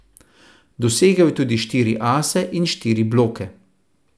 Dosegel je tudi štiri ase in štiri bloke.